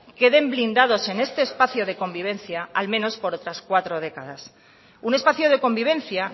queden blindados en este espacio de convivencia al menos por otras cuatro décadas un espacio de convivencia